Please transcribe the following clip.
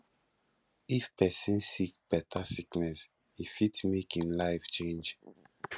if person sick better sickness e fit make im life change